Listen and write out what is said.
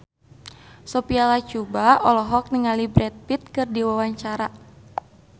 Sophia Latjuba olohok ningali Brad Pitt keur diwawancara